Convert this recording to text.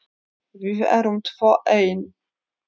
Við erum tvö ein.